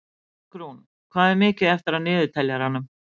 Borgrún, hvað er mikið eftir af niðurteljaranum?